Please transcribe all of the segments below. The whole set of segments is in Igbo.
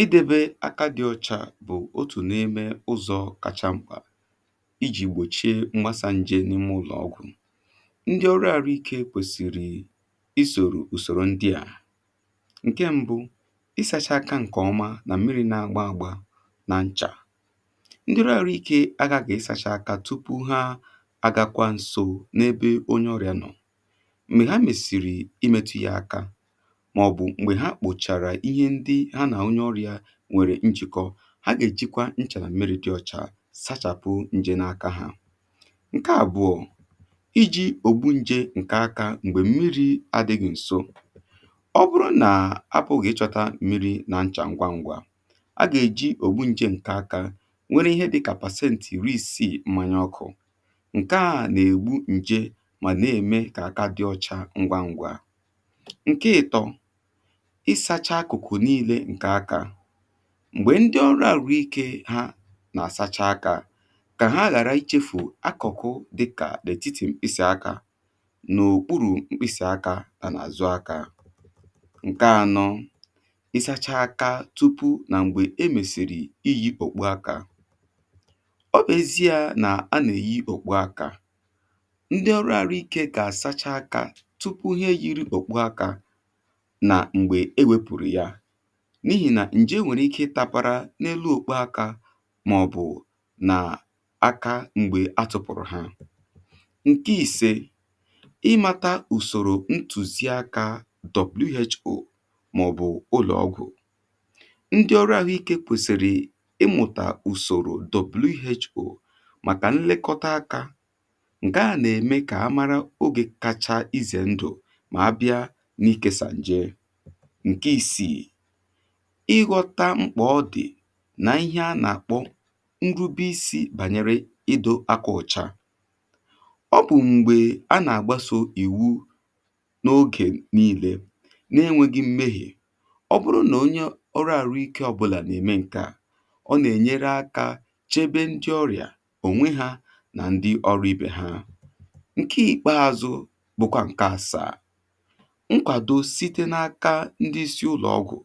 Idebe aka dị ọchà bụ̀ otù n’ime ụzọ kàchà m̀kà ijì gbòchie mgbasa nje n’ime ụlọ̀ ọgwụ̀. Ndị ọrụ àrụ ike kwèsị̀rị̀ isòrò ùsòrò ndị à; Nkè mbụ, ịsachaá aká nkè ọma nà mmiri nà-ágbá ágbá ná nchá. Ndị ọrụ àhụ iké aghaghị ịsachaá áká tụpụ há àgàkwá nso nà ebe onye ọrià nọ. Mgbè há mesịrị ịmetụ yá áká, màọ̀bụ̀ m̀gbè ha kpòchàrà ihe ndị ha nà-àonye ọrịà nwèrè njị̀kọ, ha gà-èjikwa nchà nà mmiri dị ọchà sachàpụ njè na-akȧ ha. Nkè àbụ̀ọ, iji̇ ògbu njè ǹkè akȧ m̀gbè mmiri adị̇ghị̀ ̀nso. Ọ bụrụ nà ha bụ̀ gị̇ chọta mmiri na nchà ngwa ngwa, a gà-èji ògbu njè ǹkè akȧ nwere ihe dịkà pàsentị iri-isìì mmanya ọkụ̇. Nkè à nà-ègbu njè mà na-ème kà aka dị ọcha ngwa ngwa. Nkè ịtọ, ịsàchà akụ̀kụ̀ nille ǹkè akȧ. Mgbè ndị ọrụ àrụ ike hȧ nà-àsacha akȧ, kà ha làra ichėfù akụ̀kụ̀ dịkà dị ètiti mkpịsị̀ akȧ nà òkpuru̇ mkpịsị̀ akȧ hà nà àzụ akȧ. Nkè anọ̇, isacha akȧ tụpụ nà m̀gbè e mèsìrì iyi òkpu akȧ. Ọ bèzie nà anèyì òkpu akȧ, ndị ọrụ àrụ ikė gà àsacha akȧ tụpụ hà eyiri okpú áká nà m̀gbè ewėpụ̀rụ̀ ya, n’ihì nà ǹjì e nwèrè ike ịtapara n’elu okpo aka mà ọ̀ bụ̀ nà aka m̀gbè atụ̀pụ̀rụ̀ ha. Nkè ìsė, ịmata ùsòrò ntùzii akȧ who who ma ọ̀ bụ̀ ụlọ̀ ọgwụ̀ ndị ọrụ àhụ ikė kwèsị̀rị̀ ịmụ̀tà ùsòrò ntụzí áká who màọbụ ụlọọgwụ. Ndị ọrụ àhụiké kwèsịrị ịmụtá usòrò màkà nlekọta akȧ, ǹke à nà-ème kà a màrà oge kacha izè ndụ̀ mà-ábịá nà ịkésà njé. Nkè ìsii, ịghọta mkpà ọ dị̀ na ihe a nà-àkpọ nrụbi isi̇ bànyere idȯ akà ụ̀cha. Ọ bụ̀ m̀gbè a nà-àgbaso ìwu n’ogè niilė na-enwėghi̇ m̀mèghe, ọ bụrụ nà onye ọrụ àrụike ọ bụ̀là nà-ème ǹkeà, ọ nà-ènyere akȧ chebe ndị ọrịà, ònwe hȧ nà ndị ọrụ ibè ha. Nkè ikpeazụ̇ bụkwà ǹkè àsàà, Nkwàdó site n’áká ndị isi ụlọ̀ ọgwụ̀,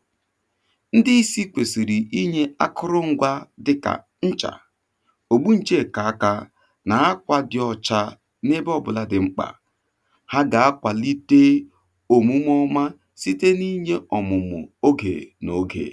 ndị isi kwèsìrì inyė akụrụ ngwȧ dịkà nchà ògbu nche nkè kà akȧ nà akwà dị ọ̀cha n’ebe ọ bụlà dị̀ mkpà. Há gà-akwàlite òmume ọma site n’inyė ọ̀mụ̀mụ̀ ogè n’ogè.